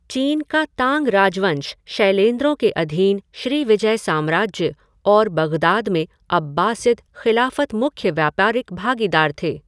चीन का तांग राजवंश, शैलेंद्रों के अधीन श्रीविजय साम्राज्य और बग़दाद में अब्बासिद ख़िलाफ़त मुख्य व्यापारिक भागीदार थे।